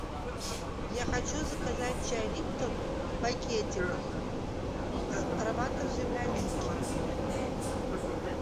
я хочу заказать чай липтон в пакетиках с ароматом земляники